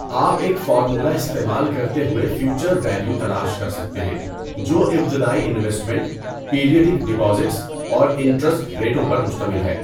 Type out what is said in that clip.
آپ ایک فارمولہ استعمال کرتے ہوئے فیوچر ویلیو تلاش کر سکتے ہیں جو ابتدائی انویسمنٹ، پیریوڈک ڈپازٹس اور انٹرسٹ ریٹوں پر مشتمل ہے۔